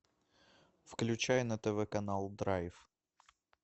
включай на тв канал драйв